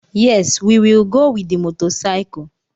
Yes! We will go with the motorcycle.